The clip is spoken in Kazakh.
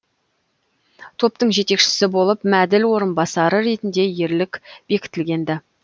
топтың жетекшісі болып мәділ орынбасары ретінде ерлік бекітілген ді